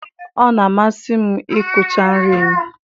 Ọ na-amasị m ịkụcha nri m.